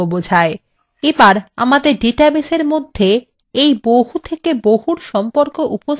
এবার আমাদের ডাটাবেসের মধ্যে এই বহু থেকে বহুর সম্পর্ক উপস্থাপন করতে